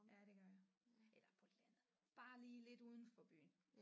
Ja det gør jeg eller på landet bare lige lidt uden for byen